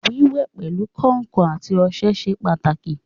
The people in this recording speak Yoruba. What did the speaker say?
Wíwẹ̀ pẹ̀lu kàǹkàn àti ọṣẹ ṣe pàtàkì